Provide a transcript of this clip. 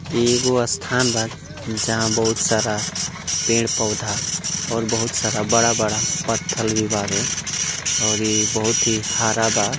एगो स्थान बा जहाँ बहुत सारा पेड़-पौधा और बहुत सारा बडा़-बडा़ पत्थर भी बावे और यह बहुत ही हरा बा--